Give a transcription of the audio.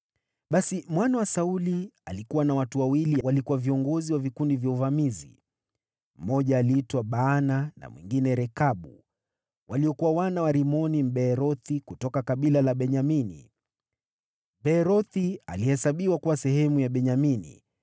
Basi mwana wa Sauli alikuwa na watu wawili waliokuwa viongozi wa vikundi vya uvamizi. Mmoja aliitwa Baana na mwingine Rekabu, waliokuwa wana wa Rimoni, Mbeerothi, kutoka kabila la Benyamini. Beerothi alihesabiwa kuwa sehemu ya Benyamini,